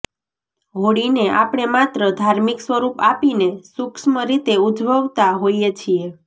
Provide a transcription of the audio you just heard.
હોળીને આપણે માત્ર ધાર્મિક સ્વરૂપ આપીને સુક્ષ્મ રીતે ઉજવતા હોઈએ છીએ